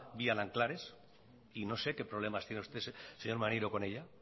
vía nanclares y no sé qué problemas tiene usted señor maneiro con ella